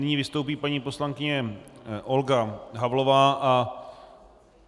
Nyní vystoupí paní poslankyně Olga Havlová, a...